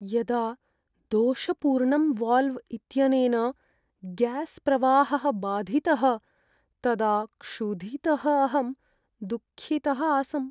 यदा दोषपूर्णं वाल्व् इत्यनेन ग्यास्प्रवाहः बाधितः, तदा क्षुधितः अहं दुःखितः आसम्।